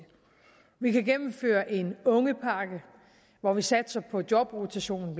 vi kan gennemføre en ungepakke hvor vi satser på jobrotation